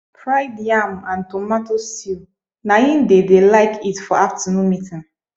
fried yam and tomato stew na im they de like eat for afternoon meeting